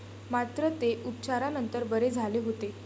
मात्र, ते उपचारानंतर बरे झाले होते.